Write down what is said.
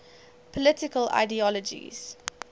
political ideologies